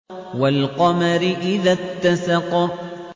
وَالْقَمَرِ إِذَا اتَّسَقَ